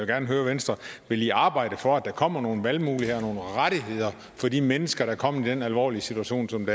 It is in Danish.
gerne høre venstre vil i arbejde for at der kommer nogle valgmuligheder og nogle rettigheder for de mennesker der er kommet i den alvorlige situation som